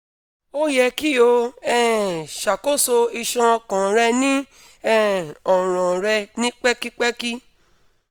o yẹ ki o um ṣakoso iṣan ọkàn rẹ ni um ọran rẹ ni pẹkipẹki